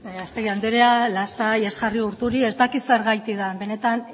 gallastegui andrea lasai ez jarri urduri ez dakit zergatik den benetan